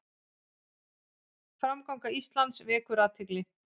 Framganga Íslands vekur athygli